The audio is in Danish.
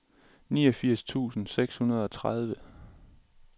niogfirs tusind seks hundrede og tredive